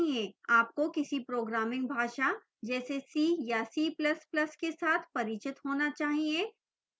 आपको किसी programming भाषा जैसे c या c ++ के साथ परिचित होना चाहिए